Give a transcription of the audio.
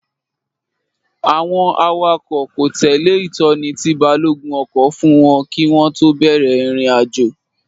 Àwọn awakọ̀ kò tẹ̀lé ìtọ́ni tí balógun ọkọ̀ fún wọn kí wọ́n tó bẹ̀rẹ̀ ìrìnàjò